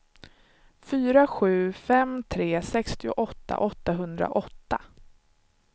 fyra sju fem tre sextioåtta åttahundraåtta